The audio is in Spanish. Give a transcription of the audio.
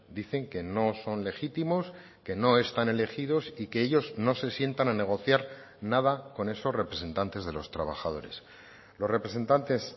dicen que no son legítimos que no están elegidos y que ellos no se sientan a negociar nada con esos representantes de los trabajadores los representantes